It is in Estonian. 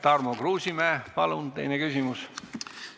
Tarmo Kruusimäe, palun teine küsimus!